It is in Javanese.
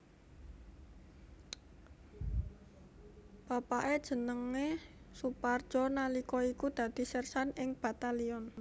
Bapake jenenge Soepardjo nalika iku dadi sersan ing Batalyon